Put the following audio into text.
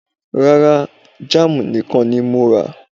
Rárá, Jam nìkan ni mo rà